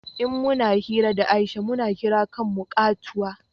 in muna hira da Aisha mu na kira kan mu katuwa